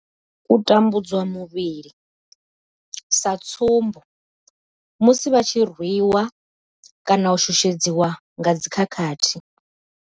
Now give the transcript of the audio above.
U tambudzwa muvhili sa tsumbo, musi vha tshi rwiwa kana u shushedzwa nga dzi khakhathi.